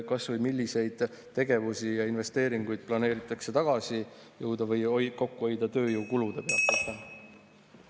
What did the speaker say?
Kas ja milliseid tegevusi ja investeeringuid planeeritakse tagasi või kokku hoida tööjõukulude pealt?